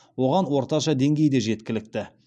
оған орташа деңгей де жеткілікті